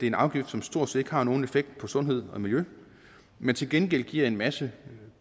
en afgift som stort set ikke har nogen effekt på sundhed og miljø men til gengæld giver en masse